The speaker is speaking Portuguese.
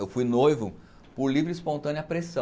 Eu fui noivo por livre e espontânea pressão.